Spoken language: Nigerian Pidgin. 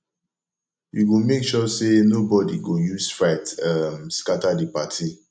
you go make sure sey nobodi go use fight um scatter di party